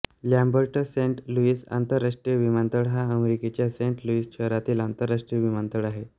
Lambert Saint Louis आंतरराष्ट्रीय विमानतळ हा अमेरिकेच्या सेंट लुईस शहरातील आंतरराष्ट्रीय विमानतळ आहे